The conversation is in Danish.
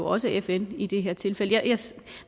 også fn i det her tilfælde